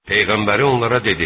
Peyğəmbəri onlara dedi: